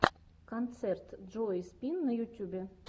концерт джои спин на ютюбе